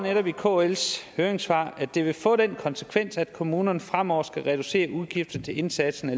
i kls høringssvar at det vil få den konsekvens at kommunerne fremover skal reducere udgifter til indsatsen